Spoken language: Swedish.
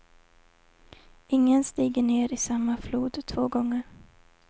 Ingen stiger ner i samma flod två gånger.